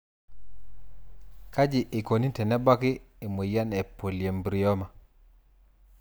Kaji eikoni tenebaki emoyian e polyembryoma?